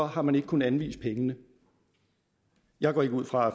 har man ikke kunnet anvise pengene jeg går ikke ud fra at